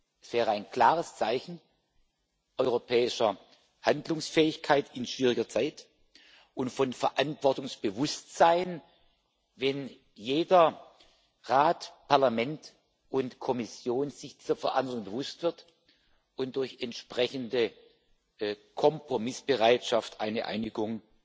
Das wäre ein klares Zeichen europäischer Handlungsfähigkeit in schwieriger Zeit und von Verantwortungsbewusstsein, wenn jeder, Rat, Parlament und Kommission, sich der Verantwortung bewusst wird und durch entsprechende Kompromissbereitschaft eine Einigung